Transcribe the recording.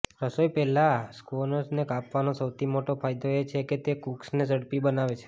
રસોઈ પહેલાં સ્ક્વોશને કાપવાનો સૌથી મોટો ફાયદો એ છે કે તે કૂક્સને ઝડપી બનાવે છે